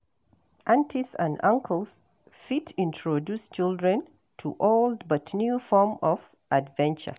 Aunties and uncles fit introduce childern to old but new form of adventure